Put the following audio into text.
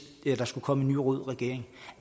der skulle komme en ny rød regering